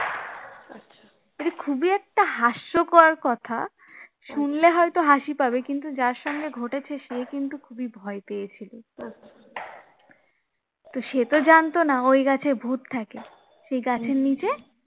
এতো হাস্যকর কথা শুনলে হয়তো হাসি পাবে কিন্তু যার সঙ্গে ঘটেছে সে কিন্তু খুবই ভয় পেয়েছিলো তো সে তো জানতো না ওই গাছে ভূত থাকে সেই গাছের নিচে